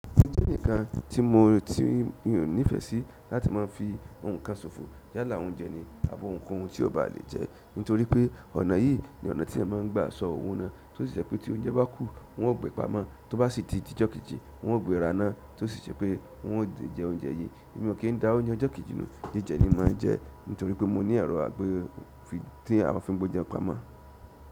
Mo je eǹikan tí mo tí mi ò nífẹ̀ sí láti máa fi ohun kan sofo yálà oúnjẹ ni, àbí ohunkóhun tí ò bá le jẹ́ nítorí pé ọ̀nà yìí ni ọ̀nà tí ẹ máa ń gbà sọ òwo náà tí ó sì je pé tí oúnjẹ bá kù wọn ó gbe pamọ́, tó bá sì ti díjọ́ kejì wọn ó gbe raná tí ó sì je pé wọn ò lè jẹ oúnjẹ yìí. Èmi ò kí n da oúnjẹ ọjọ́ kejì nu jíjẹ ni máa ń jẹ́ nítorí pé mo ní èrò àgbé tí à maa fi ń gbọ́ oúnjẹ pamọ́.